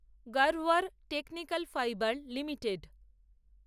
Garware Technical Fibre limited